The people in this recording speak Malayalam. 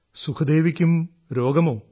സുഖ്ദേവിക്കും രോഗമോ